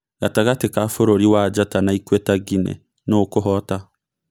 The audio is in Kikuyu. Gatagatĩ ka bũrũri wa Njata na Ikuĩta Nginĩ, nũũ ũkũhoota ?